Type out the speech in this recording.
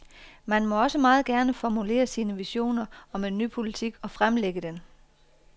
Man må også meget gerne formulere sine visioner om en ny politik og fremlægge den.